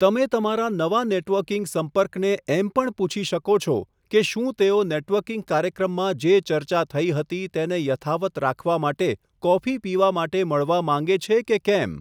તમે તમારા નવા નેટવર્કિંગ સંપર્કને એમ પણ પૂછી શકો છો કે શું તેઓ નેટવર્કિંગ કાર્યક્રમમાં જે ચર્ચા થઇ હતી તેને યથાવત્ રાખવા માટે કોફી પીવા માટે મળવા માંગે છે કે કેમ.